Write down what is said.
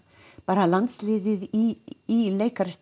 bara landsliðið í